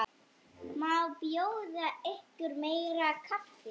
Má bjóða ykkur meira kaffi?